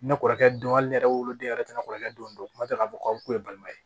Ne kɔrɔkɛ don hali ne yɛrɛ woloden yɛrɛ tɛ ne kɔrɔkɛ don kuma dɔw la k'a fɔ k'aw kun ye balima ye